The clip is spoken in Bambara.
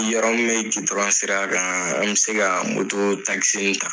Yɔrɔ gidɔrɔn sira kan an bɛ se ka ta.